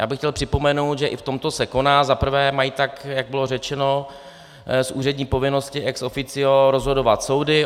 Já bych chtěl připomenout, že i v tomto se koná - za prvé - mají, tak jak bylo řečeno, z úřední povinnosti ex officio rozhodovat soudy.